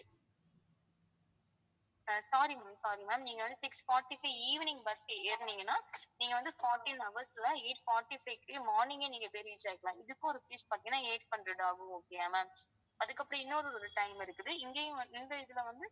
ஆஹ் sorry ma'am sorry ma'am நீங்க வந்து six forty க்கு evening bus ஏறுனீங்கன்னா நீங்க வந்து fourteen hours ல eight forty-five க்கு morning ஏ நீங்கபோய் reach ஆயிடலாம் இதுக்கும் rupees பாத்தீங்கன்னா eight hundred ஆகும் okay யா ma'am அதுக்கப்புறம் இன்னொரு ஒரு time இருக்குது இங்கேயும் வந்து இந்த இதுல வந்து